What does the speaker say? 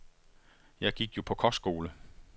Jeg gik jo på kostskole.